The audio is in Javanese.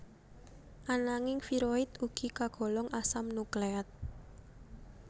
Ananging viroid ugi kagolong asam nukleat